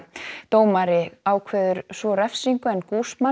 dómari ákveður svo refsingu en